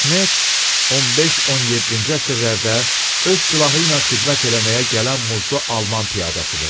Lantxnet 15-17-ci əsrlərdə öz silahı ilə xidmət eləməyə gələn muzlu alman piyadasıdır.